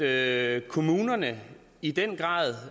at kommunerne i den grad